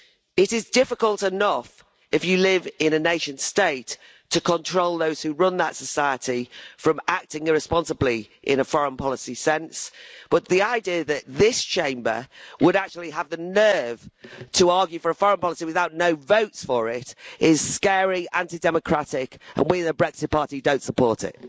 It is difficult enough if you live in a nation state to control those who run that society from acting irresponsibly, in a foreign policy sense, but the idea that this Chamber would actually have the nerve to argue for a foreign policy with no votes for it is scary and anti democratic, and we, the Brexit Party, don't support it.